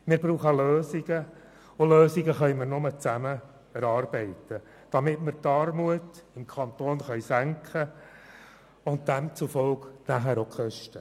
Wir brauchen Lösungen, und Lösungen können wir nur zusammen erarbeiten, damit wir die Armut im Kanton und demzufolge nachher auch die Kosten senken können.